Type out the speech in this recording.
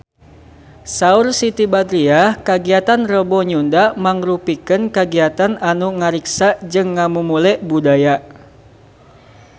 Saur Siti Badriah kagiatan Rebo Nyunda mangrupikeun kagiatan anu ngariksa jeung ngamumule budaya Sunda